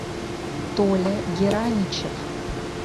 толя гераничев